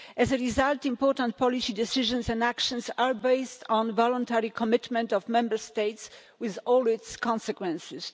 As a result, important policy decisions and actions are based on the voluntary commitment of Member States, with all its consequences.